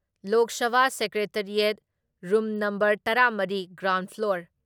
ꯂꯣꯛ Sabha secretariat, room ꯅꯝꯕꯔꯇꯔꯥ ꯃꯔꯤ, ground floor,